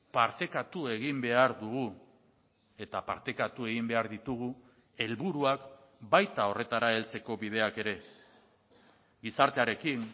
partekatu egin behar dugu eta partekatu egin behar ditugu helburuak baita horretara heltzeko bideak ere gizartearekin